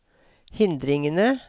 hindringene